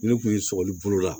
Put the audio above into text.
Ne kun ye sɔgɔli bolo la